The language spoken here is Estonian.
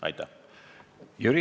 Aitäh!